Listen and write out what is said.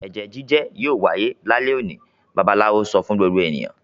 "Ẹ̀jẹ́ jíjẹ́ yóò wáyé lálẹ́ òní!" Babaláwo sọ fún gbogbo ènìyàn.